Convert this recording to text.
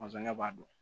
ne b'a dɔn